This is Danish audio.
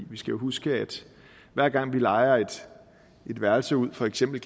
vi skal huske at hver gang vi lejer et værelse ud for eksempel